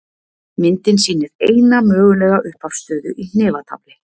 Myndin sýnir eina mögulega upphafsstöðu í hnefatafli.